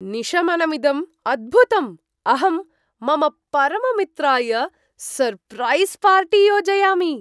निशमनमिदं अद्भुतम्, अहं मम परममित्राय सर्प्रैस् पार्टी योजयामि।